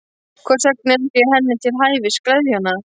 Hvers vegna ekki að gera henni til hæfis, gleðja hana?